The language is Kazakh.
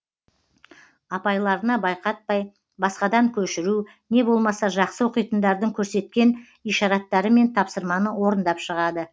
апайларына байқатпай басқадан көшіру не болмаса жақсы оқитындардың көрсеткен ишараттарымен тапсырманы орындап шығады